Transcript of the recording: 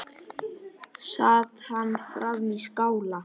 Sat hann frammi í skála.